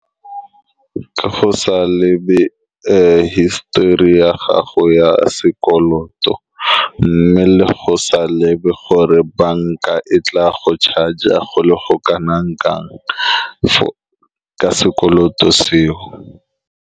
Ke go sa lebe hisitori ya gago ya sekoloto, mme le go sa lebe gore banka e tla go charger go le go kana-kanang ka sekoloto seo.